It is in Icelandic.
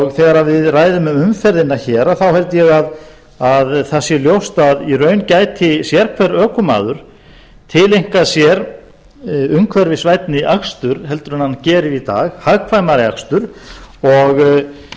og þegar við ræðum um umferðina hér þá held ég að það sé ljóst að í raun gæti sérhver ökumaður tileinkað sér umhverfisvænni akstur heldur en hann gerir í dag hagkvæmari akstur og